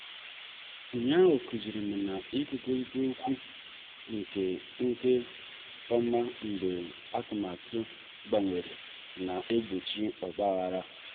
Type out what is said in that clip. ụnyaahụ kụzirim na-ikwurita okwu nke nke ọma mgbe atụmatụ gbanwere na-egbochi ogbaghara.